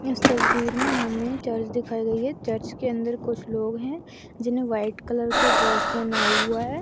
इस तस्वीर में हमें चर्च दिखाई दे रही है चर्च के अंदर कुछ लोग हैं जिनहे व्हाइट कलर का ड्रेस पहना हुआ है।